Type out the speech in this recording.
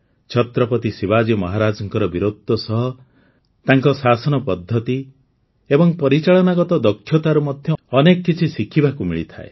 ଛତ୍ରପତି ଶିବାଜୀ ମହାରାଜଙ୍କ ବୀରତ୍ୱ ସହ ତାଙ୍କ ଶାସନ ପଦ୍ଧତି ଏବଂ ପରିଚାଳନାଗତ ଦକ୍ଷତାରୁ ମଧ୍ୟ ଅନେକ କିଛି ଶିଖିବାକୁ ମିଳିଥାଏ